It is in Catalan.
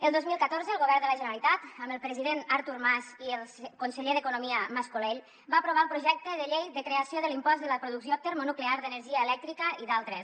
el dos mil catorze el govern de la generalitat amb el president artur mas i el conseller d’economia mas colell va aprovar el projecte de llei de creació de l’impost de la producció termonuclear d’energia elèctrica i d’altres